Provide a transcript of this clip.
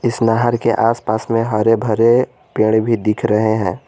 इस नहर के आसपास में हरे भरे पेड़ भी दिख रहे हैं।